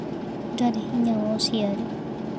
Ndari hinya wa ũciari.